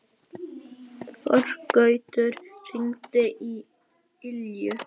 Þorgautur, hringdu í Ylju.